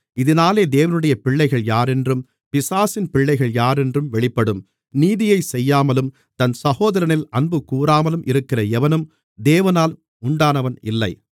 இதினாலே தேவனுடைய பிள்ளைகள் யாரென்றும் பிசாசின் பிள்ளைகள் யாரென்றும் வெளிப்படும் நீதியைச் செய்யாமலும் தன் சகோதரனில் அன்புகூராமலும் இருக்கிற எவனும் தேவனால் உண்டானவன் இல்லை